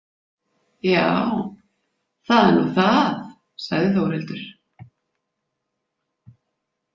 Já, það er nú það, sagði Þórhildur.